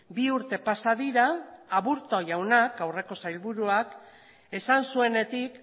bi urte pasa dira aburto jaunak aurreko sailburuak esan zuenetik